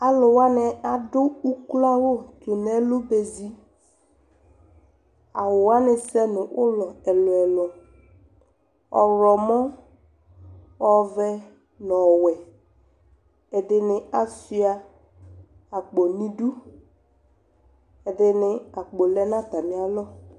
Alʋ wanɩ adʋ ukloawʋ tʋ nʋ ɛlʋ ba ezi Awʋ wanɩ sɛ nʋ ʋlɔ ɛlʋ-ɛlʋ: ɔɣlɔmɔ, ɔvɛ nʋ ɔwɛ Ɛdɩnɩ asʋɩa akpo nʋ idu Ɛdɩnɩ akpo lɛ nʋ atamɩalɔ